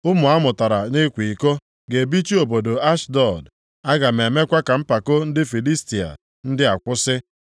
Ụmụ amụtara nʼịkwa iko ga-ebichi obodo Ashdọd, aga m emekwa ka mpako ndị Filistia ndị a kwụsị.